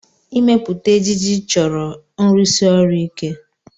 Ịmepụta ejiji chọrọ nrụsi ọrụ ike.